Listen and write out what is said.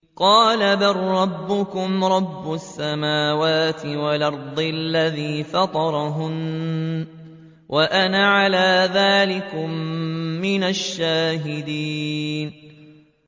قَالَ بَل رَّبُّكُمْ رَبُّ السَّمَاوَاتِ وَالْأَرْضِ الَّذِي فَطَرَهُنَّ وَأَنَا عَلَىٰ ذَٰلِكُم مِّنَ الشَّاهِدِينَ